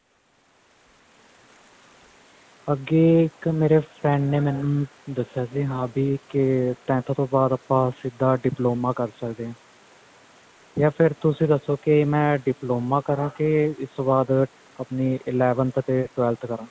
ਅੱਗੇ ਇੱਕ ਮੇਰੇ friend ਨੇ ਮੈਨੂੰ ਦੱਸਿਆ ਸੀ ਕਿ ਹਾ ਭੀ tenth ਤੋਂ ਬਾਅਦ ਆਪਾਂ ਸਿਧਾ diploma ਕਰ ਸਕਦੇ ਹਾਂ ਯਾਰ ਫੇਰ ਤੁਸੀਂ ਦੱਸੋ ਕਿ ਮੈਂ diploma ਕਰਾ ਕੇ ਇਸ ਤੋਂ ਬਾਅਦ ਆਪਣੀ eleventh ਤੇ twelve ਕਰਾਂ